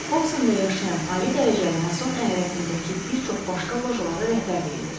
Hobsonda yaşayan ali dərəcəli Mason əyalətindəki bir çox başqa lojalara rəhbərlik edirdi.